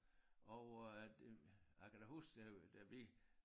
Og øh det jeg kan da huske da da vi